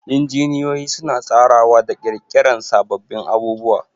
Injiniyoyi suna tsarawa da ƙirƙirar sababbin abubuwa